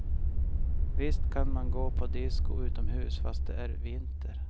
Visst kan man gå på disko utomhus fast det är vinter.